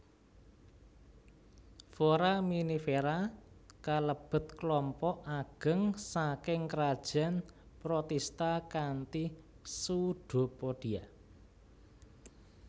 Foraminifera kalebet klompok ageng saking krajan protista kanthi pseudopodia